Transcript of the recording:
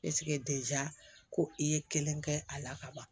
ko i ye kelen kɛ a la ka ban